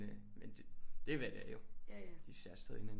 Men det er hvad det er jo de ser stadig hinanden